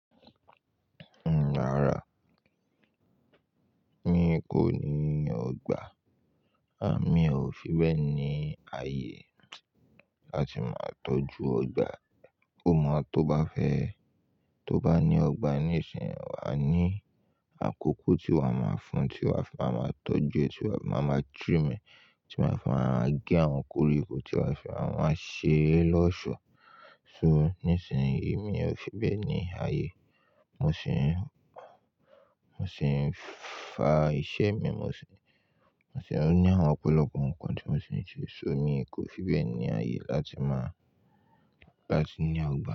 Rárá, mi kò ní ọgbà. A mi ò fi bẹ́ẹ̀ ní ààyè láti máa tọ́jú ọgbà. Ó mọ́ tó bá fẹ́ ẹ, tó bá ní ọgbà níìsín, wà á ní àkókò tí wà máa fún, tí wà fi máa máa tọ́jú, tí wà fi máa máa juú, tí wà máa fí maa gẹ́ àwọn koríko, tí wà máa fi máa ṣe lọ́ọ̀ṣọ́. So níìsín yìí mi ò fi bẹ́ẹ̀ ní ààyè. Mo sì ń, mo sì ń fa iṣẹ́ mi, mo sì ń, mo sì ń ní àwọn ọ̀pọ̀lọpọ̀ nǹkan tí mo sì ń ṣe. So mi kò fi bẹ́ẹ̀ ní ààyè láti máa, láti ní ọgbà.